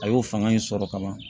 A y'o fanga in sɔrɔ ka ban